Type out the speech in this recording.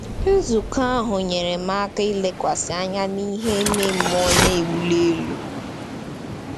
Nzukọ ahụ nyere m aka ilekwasị anya n’ihe ime mmụọ na-ewuli elu.